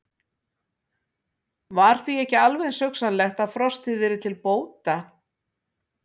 Var því ekki alveg eins hugsanlegt að frostið yrði til bóta?